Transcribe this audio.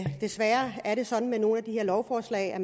desværre er det sådan med nogle af de her lovforslag at